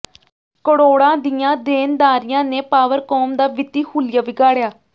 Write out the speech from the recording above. ਕਰੋੜਾਂ ਦੀਆਂ ਦੇਣਦਾਰੀਆਂ ਨੇ ਪਾਵਰਕੌਮ ਦਾ ਵਿੱਤੀ ਹੁਲੀਆ ਵਿਗਾੜਿਆ